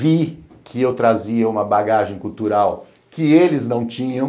Vi que eu trazia uma bagagem cultural que eles não tinham,